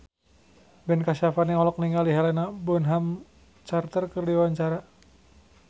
Ben Kasyafani olohok ningali Helena Bonham Carter keur diwawancara